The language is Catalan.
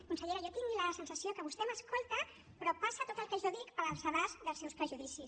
consellera jo tinc la sensació que vostè m’escolta però passa tot el que jo dic pel sedàs dels seus prejudicis